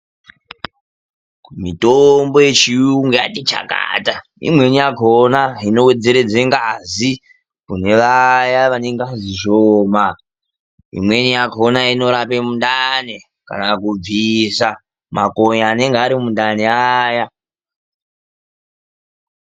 Mitombo yechiyungu yati chakata. Imweni yakhona inowedzeredze ngazi, kune vaya vane ngazi shoma. Imweni yakhona inorape mundani, kana kubvisa makonye anonga ari mundani aya.